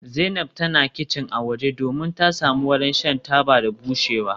Zainab tana kicin a waje domin ta samu wurin shan taba da bushewa.